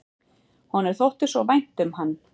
Honum þótti svo vænt um hann.